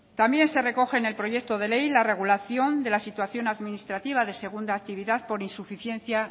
también se recoge en el proyecto de ley la regulación de la situación administrativa de segunda actividad por insuficiencia